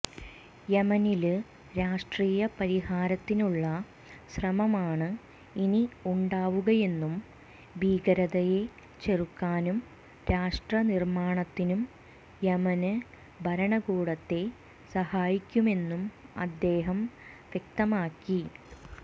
യമനില് രാഷ്ട്രീയ പരിഹാരത്തിനുള്ള ശ്രമമാണ് ഇനി ഉണ്ടാവുകയെന്നും ഭീകരതയെ ചെറുക്കാനും രാഷ്ട്ര നിര്മാണത്തിനും യമന് ഭരണകൂടത്തെ സഹായിക്കുമെന്നും അദ്ദേഹം വ്യക്തമാക്കി